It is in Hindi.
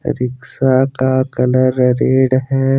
रिक्शा का कलर रेड है।